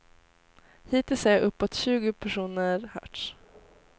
Hittills har uppåt tjugo personer hörts.